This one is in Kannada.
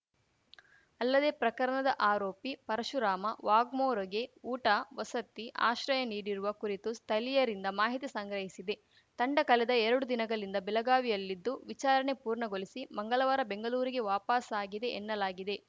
ಅಲ್ಲದೇ ಪ್ರಕರಣದ ಆರೋಪಿ ಪರಶುರಾಮ ವಾಘ್ಮೋರೆಗೆ ಊಟ ವಸತಿ ಆಶ್ರಯ ನೀಡಿರುವ ಕುರಿತು ಸ್ಥಲೀಯರಿಂದ ಮಾಹಿತಿ ಸಂಗ್ರಹಿಸಿದೆ ತಂಡ ಕಲೆದ ಎರಡು ದಿನಗಲಿಂದ ಬೆಲಗಾವಿಯಲ್ಲಿದ್ದು ವಿಚಾರಣೆ ಪೂರ್ಣಗೊಲಿಸಿ ಮಂಗಲವಾರ ಬೆಂಗಲೂರಿಗೆ ವಾಪಸಾಗಿದೆ ಎನ್ನಲಾಗಿದೆ